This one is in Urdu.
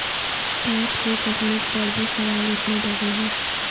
ٹارٹ کی تکنیک پر بھی سوال اٹھنے لگے ہیں